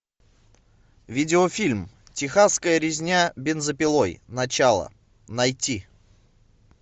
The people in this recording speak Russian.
видеофильм техасская резня бензопилой начало найти